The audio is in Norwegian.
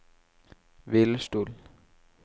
hvilestol